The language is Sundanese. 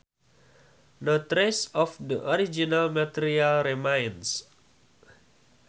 No trace of the original material remains